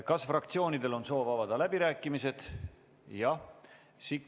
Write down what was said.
Kas fraktsioonidel on soov avada läbirääkimised?